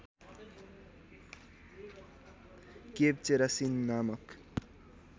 cave चेरासिन नामक